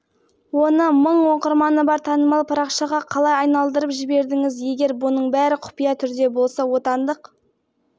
менің ойымша ақпаратты достарымыздың біреуі таратып жіберген сияқты себебі жылдай тыныш қана парақшаны жүргізіп отырғанбыз бұл